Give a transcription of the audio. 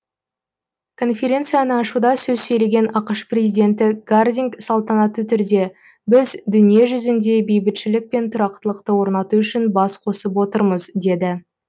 конференцияны ашуда сөз сөйлеген ақш президенті гардинг салтанатты түрде біз дүниежүзінде бейбітшілік пен тұрақтылықты орнату үшін бас қосып отырмыз деді